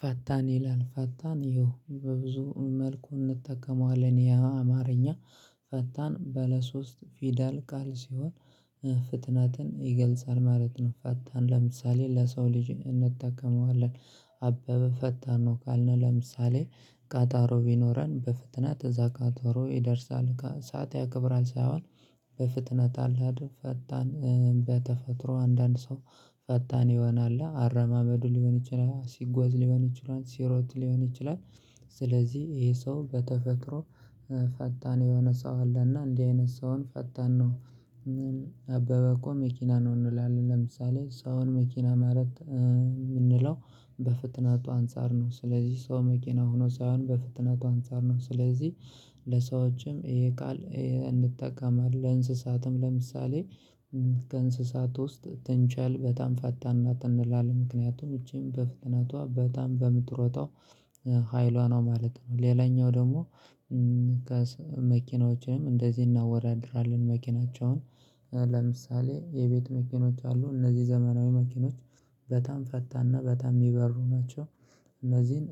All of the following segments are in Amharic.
ፈታን ይላል ፈታን ይሁን በብዙ መልኩ እንጠቀመዋለን ያ አማርኛ ፈታን በለሶስት ፊደል ቃል ሲሆን ፍትናትን ይገልጻል ማለት ነው። ፈታን ለምሳሌ ለሰው ልጅ እንጠቀመዋለን። አበበ ፈታን ነው ካልነው ለምሳሌ ቃጣሮ ቢኖረን በፍጥነት እዛ ቀጠሮ ይደርሳል ሳት ያክብራል ሳይሆን። በፍጥነት አላድር ፈጣን በተፈጥሮ አንዳንድ ሰው ፈታን ይሆናል አረማመዱ ሊሆን ይችላል ሲጓዝ ሊሆን ይችላል ሲሮት ሊሆን ይችላል። ስለዚህ ይሄ ሰው በተፈጥሮ ፈታን የሆነ ሰው አለና እንዲህ አይነት ሰውን ፈታን ነው። አበበ እኮ መኪና ነው እንላለን ለምሳሌ ሰውን መኪና ማረት ማለት የምንለው በፍጥነቱ አንፃር ነው። ስለዚህ ሰው መኪና ሆኖ ሳይሆን በፍጥነቱ አንፃር ነው ስለዚህ። ለሰዎችም ይሄ ቃል እንጠቀማለን ለእንስሳትም ለምሳሌ ከእንስሳት ውስጥ ትንችል በጣም ፈታና ትንላል ምክንያቱም ውጪም በፍጥነቷ በጣም በምትሮጠው ሀይሏ ነው ማለት ነው። ሌላኛው ደግሞ። መኪናዎችንም እንደዚህ እናወራድራለን መኪናቸውን። ለምሳሌ የቤት መኪኖች አሉ እነዚህ ዘመናዊ መኪኖች በጣም ፈታና በጣም የሚበሩ ናቸው። እነዚህን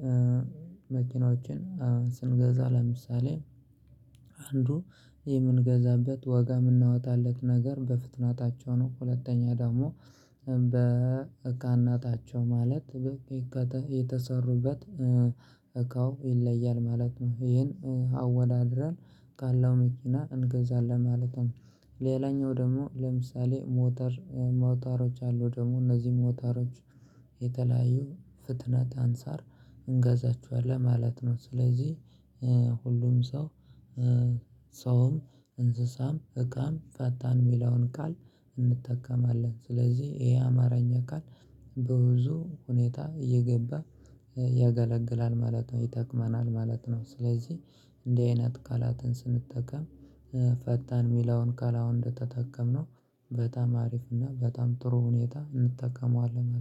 መኪኖችን ስንገዛ ለምሳሌ አንዱ የምንገዛበት ወጋ የምናወጣለት ነገር በፍጥነታቸው ነው። ሁለተኛ ደግሞ በእካን ናታቸው ማለት የተሰሩበት እካው ይለያል ማለት ነው። ይሄን አወዳድረን ካለው መኪና እንገዛለን ማለት ነው። ሌላኛው ደግሞ ለምሳሌ ሞተር ሞተሮች አሉ ደግሞ እነዚህ ሞተሮች። የተለያዩ ፍጥነት አንሳር እንገዛቸዋለን ማለት ነው። ስለዚህ ሁሉም ሰው ሰውም እንስሳም እቃም ፈታን የሚለውን ቃል እንጠቀማለን ስለዚህ ይሄ አማራኝ አካል። በብዙ ሁኔታ እየገባ ያገለግላል ማለት ነው ይጠቅመናል ማለት ነው። ስለዚህ እንደ አይነት ቃላትን ስንጠቀም ፈታን የሚለውን ካላውንድ ተጠቀምነው በጣም አሪፍ እና በጣም ጥሩ ሁኔታ እንጠቀመዋለን